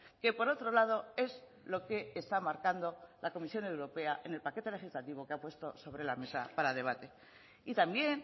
que por otro lado es lo que está marcando la comisión europea en el paquete legislativo que ha puesto sobre la mesa para debate y también